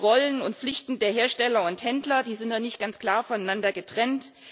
Die Rollen und Pflichten der Hersteller und Händler sind noch nicht ganz klar voneinander getrennt.